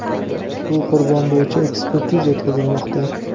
Bu qurbon bo‘yicha ekspertiza o‘tkazilmoqda.